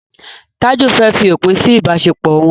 Taju fè fí òpin sí ibaṣepọ wón.